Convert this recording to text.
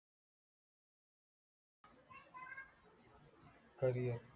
career